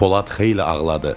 Polad xeyli ağladı.